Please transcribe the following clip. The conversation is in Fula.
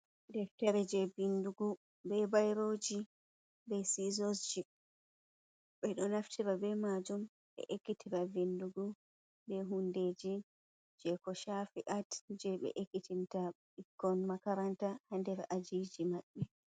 Deftere je vindugu be bairoji be sizos ji ɓeɗo naftira be majum ɓe ekitira vindugo, be hundeji je ko shafi’ art je ɓe ekitinta bikkon makaranta hader ajiji maɓɓe.